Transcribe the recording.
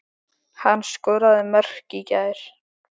Hann skoraði mörk í gær.